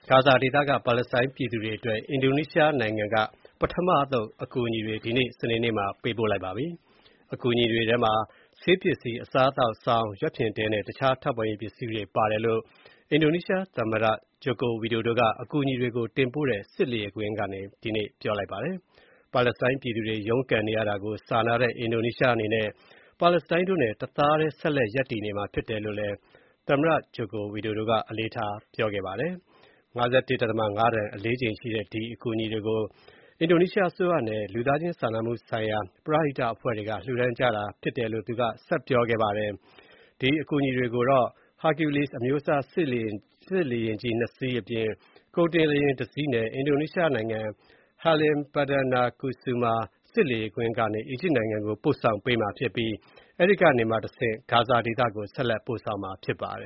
ဂါဇာဒေသက ပါလက်စတိုင်းပြည်သူတွေအတွက် အင်ဒိုနီးရှားနိုင်ငံက ပထမအသုတ် အကူအညီတွေ ဒီနေ့ စနေနေ့မှာ ပေးပို့ခဲ့ပါတယ်။ အကူအညီတွေထဲမှာ ဆေးပစ္စည်း၊ အစားအသောက်၊ စောင်၊ ရွက်ဖျင် တဲနဲ့ တခြားထောက်ပံ့ရေးပစ္စည်းတွေပါတယ်လို့ အင်ဒိုနီးရှားသမ္မတ ဂျိုကိုဝီဒိုဒို ကအကူအညီတွေ တင်ပို့တဲ့ စစ်လေယာဉ်ကွင်းကနေ ပြောကြားခဲ့ပါတယ်။ ပါလက်စတိုင်းပြည်သူတွေ ရုန်းကန်နေရတာကို စာနာတဲ့ အင်ဒိုနီးရှားအနေနဲ့ ပါလက်စတိုင်းတို့နဲ့ တသားထဲဆက်လက် ရပ်တည်နေမှာဖြစ်တယ်လို့ သမ္မတ ဝီဒိုဒို က အလေးထား ပြောကြားခဲ့ပါတယ်။ ၅၁.၅ တန် အလေးချိန်ရှိတဲ့ ဒီအကူအညီတွေကို အစိုးရနဲ့ လူသားချင်းစာနာမှုဆိုင်ရာ ပရဟိတအဖွဲ့တွေက လှူဒါန်းကြတာဖြစ်ပါတယ်။ Hercules အမျိုးအစား စစ်လေယာဉ်ကြီး ၂ စီးအပြင် ကုန်တင်လေယာဉ် ၁ စီးနဲ့၊ အင်ဒိုနီးရှားနိုင်ငံ Halim Perdanakusuma စစ်လေယာဉ်ကွင်းကနေ အီဂျစ်နိုင်ငံကို ပို့ဆောင်ပေးမှာဖြစ်ပြီး အဲဒီကနေမှာ ဂါဇာဒေသကို ဆက်လက်ပို့ဆောင်မှာဖြစ်ပါတယ